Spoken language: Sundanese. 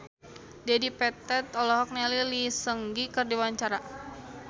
Dedi Petet olohok ningali Lee Seung Gi keur diwawancara